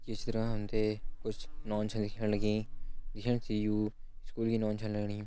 ये चित्र में हम तें कुछ नौनी छन दिखेण लगीं दिखेण सी यु स्कूल की नौनी छन लगणी।